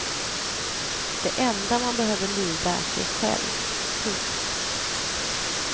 Det enda man behöver lyda är sig själv. punkt